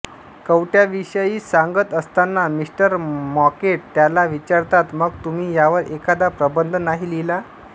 कवट्यांविषयी सांगत असताना mister Mockett त्याला विचारतात मग तुम्ही यावर एखादा प्रबंध नाही लिहिला